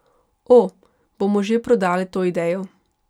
O, bomo že prodali to idejo.